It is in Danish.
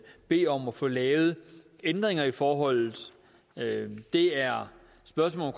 bede om at få lavet ændringer i forholdet det er spørgsmål